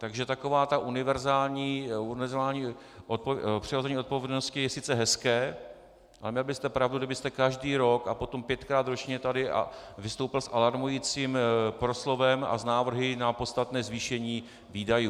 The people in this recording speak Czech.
Takže takové to univerzální přehození odpovědnosti je sice hezké, ale měl byste pravdu, kdybyste každý rok a potom pětkrát ročně tady vystoupil s alarmujícím proslovem a s návrhy na podstatné zvýšení výdajů.